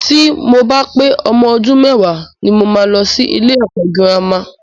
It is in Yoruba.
Tí mo bá pé ọmọ ọdún mẹ́wàá ni mo máa lọ sí ilé ẹ̀kọ́ girama.